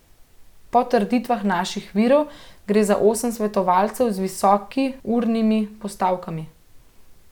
Po trditvah naših virov gre za osem svetovalcev z visoki urnimi postavkami.